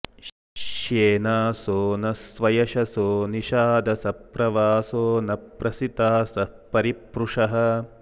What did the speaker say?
श्ये॒नासो॒ न स्वय॑शसो रि॒शाद॑सः प्र॒वासो॒ न प्रसि॑तासः परि॒प्रुषः॑